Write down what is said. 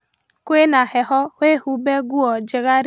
Kwĩna heho wĩhumbe nguo njega rĩu